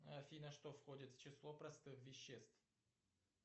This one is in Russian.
афина что входит в число простых веществ